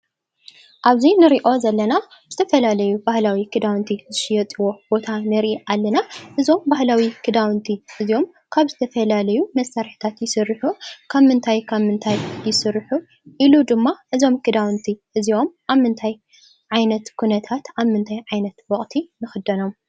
ኣብዚ ንሪኦ ዘለና ዝተፈላለዩ ባህላዊ ክዳውንቲ ዝሽየጥዎ ቦታ ንርኢ ኣለና፡፡ እዞም ባህላዊ ክዳውንቲ እዚኦም ካብ ዝተፈላለዩ መሳርሕታት ይስርሑ፡፡ ካብ ምንታይ ካብ ምንታይ ይስርሑ ? ኢሉ ድማ እዞም ክዳውንቲ እዚኦም ኣብ ምንታይ ዓይነት ኩነታት ኣብ ምንታይ ዓይነት ወቕቲ ንኽደኖም ?